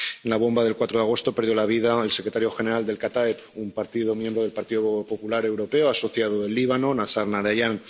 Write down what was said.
En la bomba del 4 de agosto perdió la vida el secretario general del Kataeb —un partido miembro del Partido Popular Europeo asociado del Líbano—, Nazar Najarian.